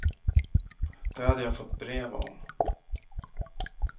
Det hade jag fått brev om.